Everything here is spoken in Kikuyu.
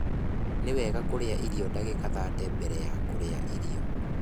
Ni wega kurĩa irio ndagika thate mbere ya kurĩa irio